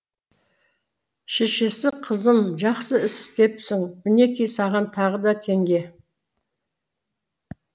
шешесі қызым жақсы іс істепсің мінекей саған тағы да теңге